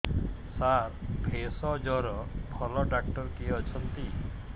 ସାର ଭେଷଜର ଭଲ ଡକ୍ଟର କିଏ ଅଛନ୍ତି